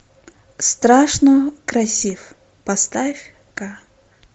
страшно красив поставь ка